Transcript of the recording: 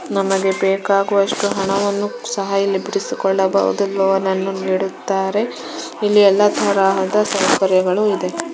ನಮಗೆ ಬೇಕಾಗುವಷ್ಟು ಹಣವನ್ನು ಸಹ್ ಇಲ್ಲಿ ಬಿಡಿಸಿಕೊಳ್ಳಬಹುದು ಲೊನನ್ನು ನಿಡುತ್ತಾರೆ ಇಲ್ಲಿ ಎಲ್ಲ ತರಹದ ಸೌಕರ್ಯಗಳು ಇದೆ .